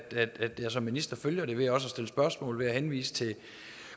jeg som minister følger det ved at stille spørgsmål og ved at henvise til